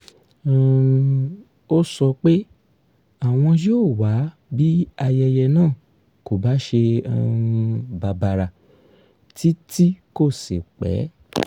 um ó sọ pé àwọn yóò wá bí ayẹyẹ náà kò bá ṣe um bàbàrà tí tí kò sì pẹ́